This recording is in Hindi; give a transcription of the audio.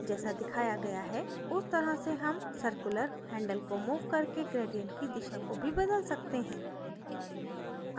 जैसा दिखाया गया है उस तरह से हम circular handle को मूव करके gradient की दिशा को भी बदल सकते हैं